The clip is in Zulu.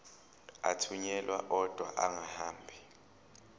athunyelwa odwa angahambi